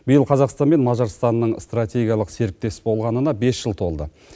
биыл қазақстан мен мажарстанның стратегиялық серіктес болғанына бес жыл толды